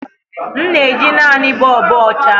M na-eji naanị bulbs ọcha.